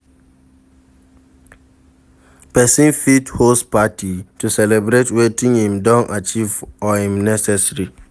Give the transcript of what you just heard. Persin fit host party to celebrate wetin im don achieve or im anniversary